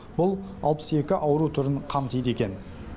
бұл алпыс екі ауру түрін қамтиды екен